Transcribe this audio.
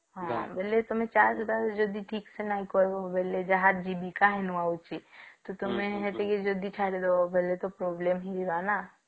ହଁ ବୋଲେ ତଆମେ ଚାଷ ବାସ ଯଦି ଠିକ୍ ସେ ନାଇଁ କରିବ ବେଳେ ଯାହା ଜିମି ତ ତୁମେ ଯଦି ସେଠିକି ଛାଡିଦବ ବୋଲ ସେଠୀ problem ହେଇଯିବ ନାଁ